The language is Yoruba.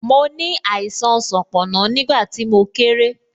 Mo ní àìsàn sanponna, nígbà tí mo kéré